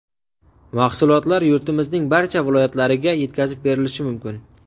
Mahsulotlar yurtimizning barcha viloyatlariga yetkazib berilishi mumkin.